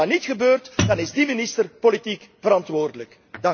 En als dat dan niet gebeurt, dan is die minister politiek verantwoordelijk.